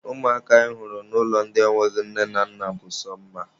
Ụmụaka anyị hụrụ n'ụlọ ndị enweghị nne na nna bụ sọ mma.